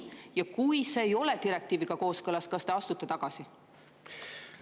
Ja kui see ei ole direktiiviga kooskõlas, kas te astute tagasi?